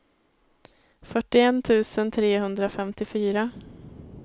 fyrtioett tusen trehundrafemtiofyra